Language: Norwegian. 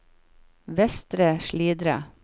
Vestre Slidre